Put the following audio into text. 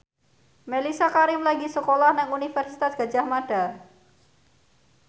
Mellisa Karim lagi sekolah nang Universitas Gadjah Mada